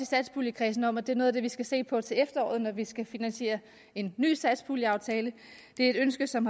satspuljekredsen om at det er noget af det vi skal se på til efteråret når vi skal finansiere en ny satspuljeaftale det er et ønske som